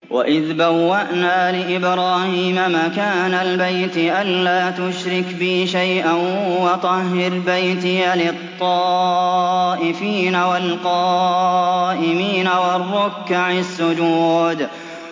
وَإِذْ بَوَّأْنَا لِإِبْرَاهِيمَ مَكَانَ الْبَيْتِ أَن لَّا تُشْرِكْ بِي شَيْئًا وَطَهِّرْ بَيْتِيَ لِلطَّائِفِينَ وَالْقَائِمِينَ وَالرُّكَّعِ السُّجُودِ